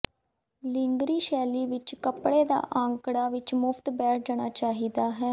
ਲਿੰਗਰੀ ਸ਼ੈਲੀ ਵਿੱਚ ਕੱਪੜੇ ਦਾ ਅੰਕੜਾ ਵਿੱਚ ਮੁਫ਼ਤ ਬੈਠ ਜਾਣਾ ਚਾਹੀਦਾ ਹੈ